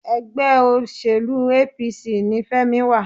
ẹgbẹ́ òṣèlú APC ní Femi wà.